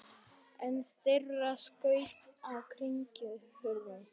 Einn þeirra skaut á kirkjuhurðina.